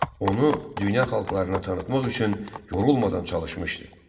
Onu dünya xalqlarına tanıtmaq üçün yorulmadan çalışmışdı.